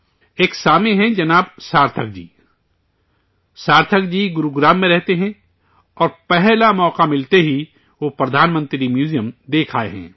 ایک سامع ہیں جناب سارتھک جی، سارتھک جی گروگرام میں رہتے ہیں اور پہلا موقع ملتے ہی وہ وزیر اعظم کا میوزیم دیکھ آئے ہیں